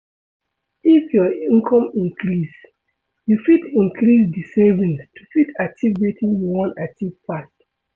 If your income increase, you fit increase di savings to fit achieve wetin you wan achieve fast